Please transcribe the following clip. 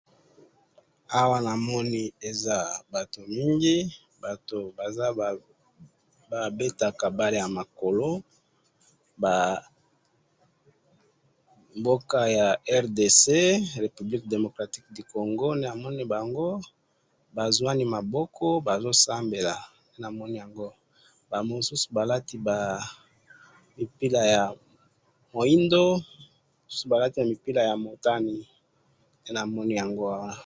awa namoni eza batu mingi, batu baza, babetaka balle ya makolo, boka ya RDC, Republique Democratique du Congo, namoni bango bazuani maboko bazosambela, namoni yango, ba mususu balati ba mipira ya muindo, misusu balati mipira ya motane, ngai namoni yango awa